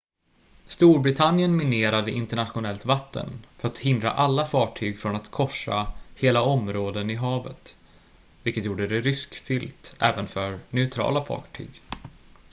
storbritannien minerade internationellt vatten för att hindra alla fartyg från att korsa hela områden i havet vilket gjorde det riskfyllt även för neutrala fartyg